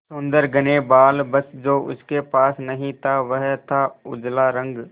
सुंदर घने बाल बस जो उसके पास नहीं था वह था उजला रंग